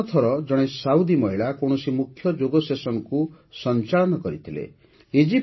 ପ୍ରଥମ ଥର ଜଣେ ସାଉଦି ମହିଳା କୌଣସି ମୁଖ୍ୟ ଯୋଗ ସେସନକୁ ସଞ୍ଚାଳନ କରିଥିଲେ